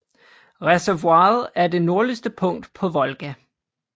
Reservoiret er det nordligste punkt på Volga